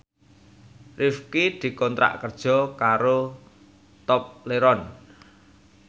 Rifqi dikontrak kerja karo Tobleron